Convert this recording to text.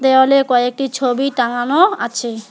দেওয়ালে কয়েকটি ছবি টাঙানো আছে।